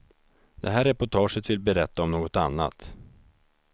Det här reportaget vill berätta om något annat.